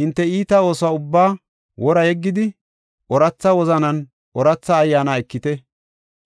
Hinte iita oosuwa ubba wora yeggidi, ooratha wozananne ooratha ayyaana ekite.